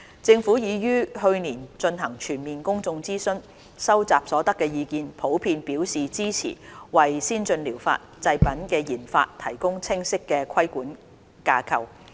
政府已於去年進行全面公眾諮詢，收集所得的意見普遍表示支持為先進療法製品的研發提供清晰的規管架構。